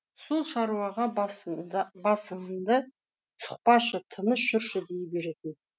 сол шаруаға басыңды сұқпашы тыныш жүрші дей беретін